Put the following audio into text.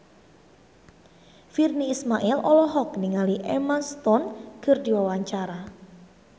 Virnie Ismail olohok ningali Emma Stone keur diwawancara